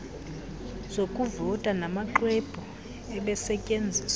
zokuvota namaxwebhu ebesetyenziswa